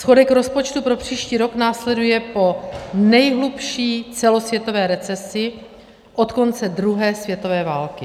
Schodek rozpočtu pro příští rok následuje po nejhlubší celosvětové recesi od konce druhé světové války.